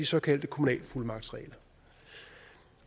såkaldte kommunale fuldmagtsregler